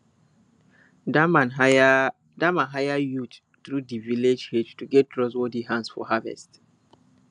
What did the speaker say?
dat man hire dat man hire youths through di village head to get trustworthy hands for harvest